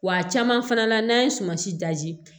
Wa a caman fana na n'an ye sumansi